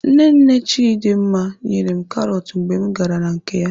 Nne nne Chidimma nyere m karọt mgbe m gara na nke ya.